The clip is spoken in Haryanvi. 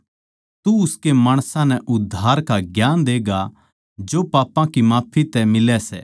तू उसकै माणसां नै उद्धार का ज्ञान देगा जो पापां की माफी तै मिलै सै